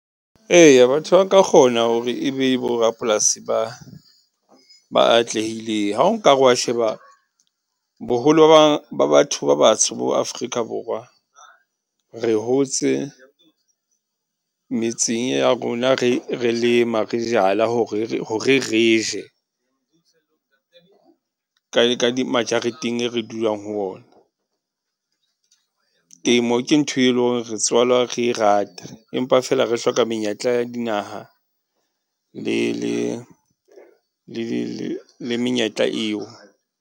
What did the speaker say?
Eya batho ba ka kgona hore e be bo rapolasi ba, ba atlehileng. Ha o nka re o wa sheba, boholo ba batho ba batsho mo Afrika Borwa. Re hotse metseng re ya rona re, re lema, re jala hore re, horr re je ka ka ma jareteng e re dulang ho ona. Temo ke ntho e leng hore re tswalwa re e rata, empa fela re hloka menyetla ya dinaha le menyetla eo.